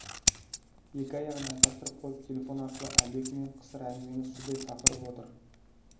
екі аяғын айқастырып қойып телефон арқылы әлдекіммен қысыр әңгімені судай сапырып отыр